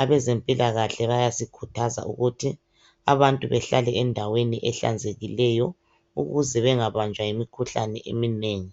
abezempilakahle bayasikhuthaza ukuthi abantu behlala endaweni ehlanzekileyo ukuze bengabanjwa yimikhuhlane eminengi.